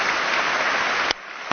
Meine Damen und Herren!